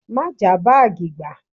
Má jàá báàgì gbà!